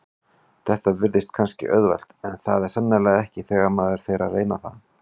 Þetta virðist kannski auðvelt en er það sannarlega ekki þegar maður fer að reyna það.